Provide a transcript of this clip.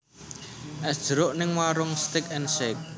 Es jeruk ning Waroenk Steak and Shake